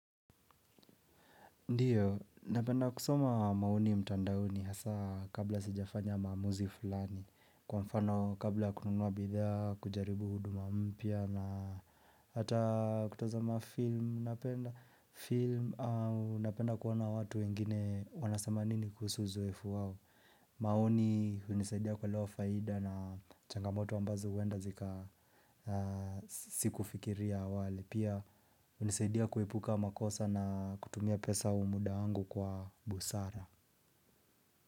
Ndiyo, napenda kusoma mauno mtandaoni hasa kabla sijafanya maamuzi fulani Kwa mfano kabla kununua bidhaa kujaribu huduma mpia na hata kutazama film Napenda kuwaona watu wengine wanasema nini kuhusu uzoefu wao maoni hunisaidia kuelewa faida na changamoto ambazo wenda zika siku fikiria awali Pia hunisaidia kuepuka makosa na kutumia pesa muda wangu kwa busara.